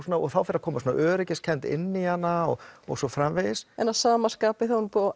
þá fer að koma svona öryggiskennd inn í hana og og svo framvegis en að sama skapi þá er búið að